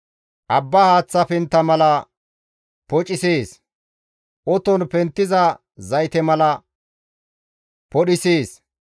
Abba haaththa pentta mala pocisees; oton penttiza zayte mala podhisees.